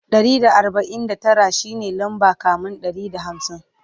Ɗari da arbain da Tara shine lamba kamin Ɗari da hamsin